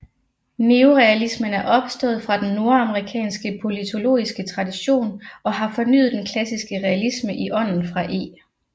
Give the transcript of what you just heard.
Neorealismen er opstået fra den nordamerikanske politologiske tradition og har fornyet den klassiske realisme i ånden fra E